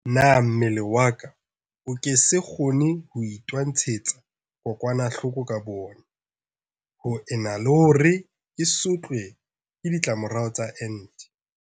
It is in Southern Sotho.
Na mmele wa ka o ke se kgone ho itwantshetsa kokwanahloko ka boona ho ena le hore ke sotlwe ke di tlamorao tsa ente?